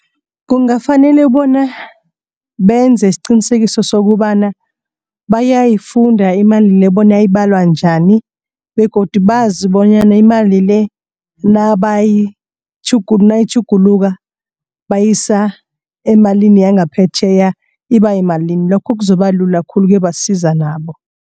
Kungafanele bona benze isiqinisekiso sokobana bayayifunda imali le bona ibalwa njani. Begodu bazi bonyana imali le nayitjhuguluka bayisa emalini yangaphetjheya iba yimalini lokho kuzokubalula khulu kuyobasiza nabo.